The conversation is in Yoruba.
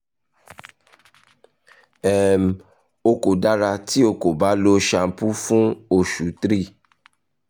um o ko dara ti o ko ba lo shampoo fun osu 3